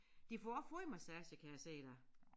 De får også fodmassage kan jeg se der